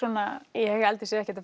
ég held ekkert að